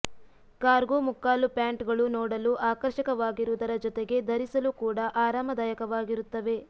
cargo ಮುಕ್ಕಾಲು ಪ್ಯಾಂಟ್ಗಳು ನೋಡಲು ಆಕರ್ಷಕವಾಗಿರುವುದರ ಜೊತೆಗೆ ಧರಿಸಲೂ ಕೂಡ ಆರಾಮದಾಯಕವಾಗಿರುತ್ತವೆ